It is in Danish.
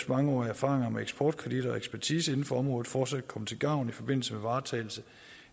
mangeårige erfaringer med eksportkreditter og ekspertise inden for området fortsat komme til gavn i forbindelse med varetagelse